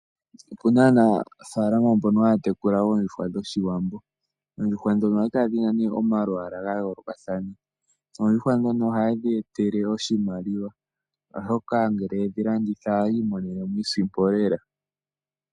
Opuna aanafalama mbonobhaya tekula oondjuhwa dhoshiwambo. Ohadhi kala dhina omalwalwa ga yoolokathana. Ohadhi yeetele oshimaliwa ngele yedhi landitha.